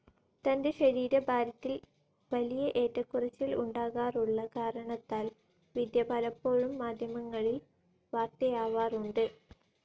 തന്റെ ശരീരഭാരത്തിൽ വലിയ ഏറ്റക്കുറച്ചിൽ ഉണ്ടാകാറുള്ള കാരണത്താൽ വിദ്യ പലപ്പോഴും മാധ്യമങ്ങളിൽ വാർത്തയാവാറുണ്ട്.